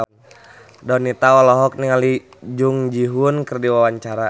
Donita olohok ningali Jung Ji Hoon keur diwawancara